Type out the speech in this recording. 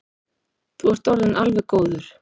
Þú ert orðinn alveg góður.